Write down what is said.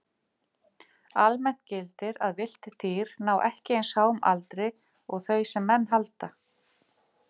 Almennt gildir að villt dýr ná ekki eins háum aldri og þau sem menn halda.